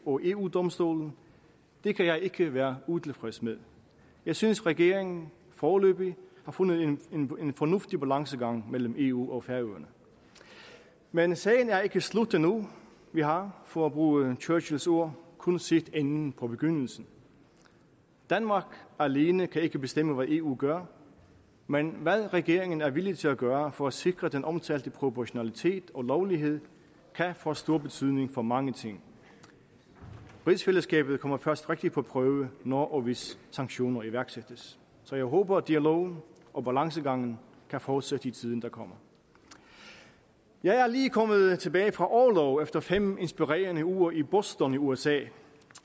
og eu domstolen det kan jeg ikke være utilfreds med jeg synes regeringen foreløbig har fundet en fornuftig balancegang mellem eu og færøerne men sagen er ikke slut endnu vi har for at bruge churchills ord kun set enden på begyndelsen danmark alene kan ikke bestemme hvad eu gør men hvad regeringen er villig til at gøre for at sikre den omtalte proportionalitet og lovlighed kan få stor betydning for mange ting rigsfællesskabet kommer først rigtig på prøve når og hvis sanktioner iværksættes så jeg håber at dialogen og balancegangen kan fortsætte i tiden der kommer jeg er lige kommet tilbage fra orlov efter fem inspirerende uger i boston i usa